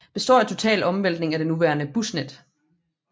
Består af en total omvæltning af det nuværende busnet